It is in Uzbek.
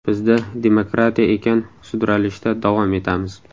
Bizda demokratiya ekan, sudralishda davom etamiz.